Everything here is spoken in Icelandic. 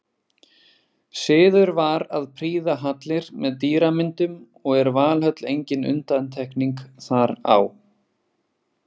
Siður var að prýða hallir með dýramyndum og er Valhöll engin undantekning þar á.